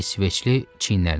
İsveçli çiyinlərini çəkdi.